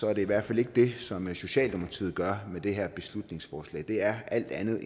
er det i hvert fald ikke det som socialdemokratiet gør i det her beslutningsforslag det er alt andet